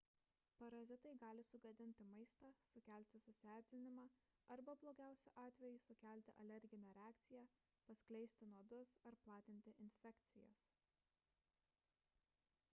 parazitai gali sugadinti maistą sukelti susierzinimą arba blogiausiu atveju sukelti alerginę reakciją paskleisti nuodus ar platinti infekcijas